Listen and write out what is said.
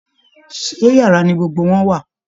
Ṣé yàrá ni gbogbo wọn wà?